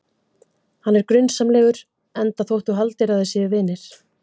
Hann er grunsamlegur, enda þótt þú haldir að þið séuð vinir.